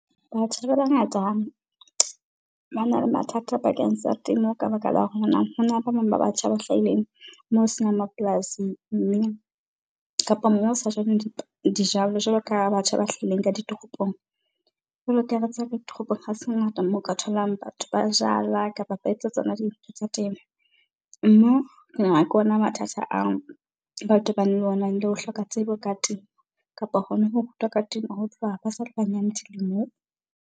Batjha ba bangata ba na le mathata bakeng sa temo ka baka la hona le ba bang ba batjha ba hlahileng moo ho senang mapolasi mme kapa moo ho sa jalweng dijalo, jwalo ka batjha ba hlahileng ka ditoropong. Jwalo ka ha re tseba ka ditoropong, ha se ngata moo ka tholang batho ba jala kapa ba etsa tsona dintho tsa temo. Mme ke nahana ke ona mathata ao ba tobaneng le ona, le o hloka tsebo ka temo kapa hona ho rutwa ka temo ho tloha ba sale banyane dilemong.